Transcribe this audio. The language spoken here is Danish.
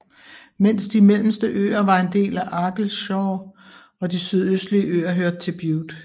Mens de mellemste øer var en del af Argyllshire og de sydøstlige øer hørte til Bute